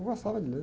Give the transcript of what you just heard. Eu gostava de ler.